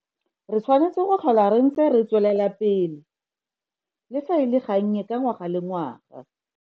Re tshwanetse go tlhola re ntse re tswelela pele le fa e le gannye ka ngwaga le ngwaga.